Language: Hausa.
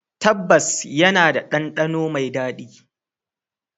Tabbas, yana da ɗandano mai daɗi.